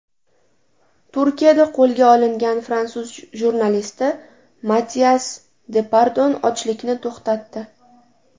Turkiyada qo‘lga olingan fransuz jurnalisti Matias Depardon ochlikni to‘xtatdi.